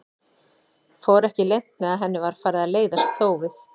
Fór ekki leynt með að henni var farið að leiðast þófið.